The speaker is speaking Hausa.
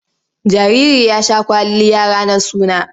Jariri ya sha kwalliya ranar suna.